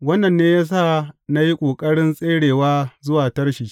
Wannan ne ya sa na yi ƙoƙarin tserewa zuwa Tarshish.